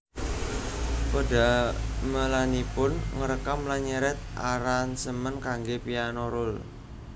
Pedamelanipun ngrekam lan nyerat aransemen kanggè piano roll